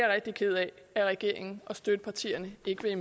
rigtig ked af at regeringen og støttepartierne ikke vil